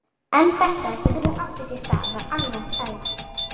En þetta sem nú átti sér stað var annars eðlis.